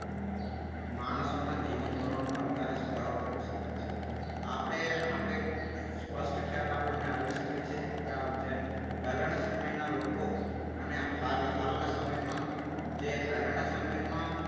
માણસોના જીવન ધોરણમાં વધારા લાવી શકાય છે. આપણે આપણે સ્પષ્ટ ખ્યાલ આપણને આવી શકે છે કે જેમ પહેલાંના સમયના લોકો અને હાલના સમયમાં જે પહેલાના સમયમાં